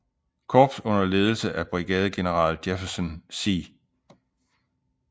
Korps under ledelse af brigadegeneral Jefferson C